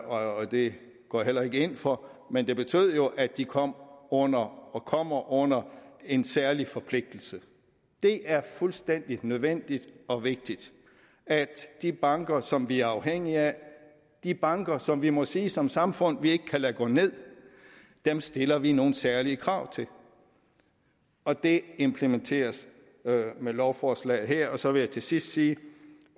og det går jeg heller ikke ind for men det betød jo at de kom under og kommer under en særlig forpligtelse det er fuldstændig nødvendigt og vigtigt at de banker som vi er afhængige af de banker som vi må sige som samfund vi ikke kan lade gå ned stiller vi nogle særlige krav til og det implementeres med lovforslaget her så vil jeg til sidst sige